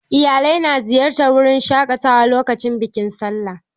Iyalai na ziyartar wurin shaƙatawa lokacin bikin sallah.